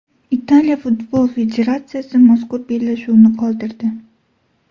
Italiya futbol federatsiyasi mazkur bellashuvni qoldirdi.